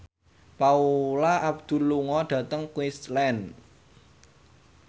Paula Abdul lunga dhateng Queensland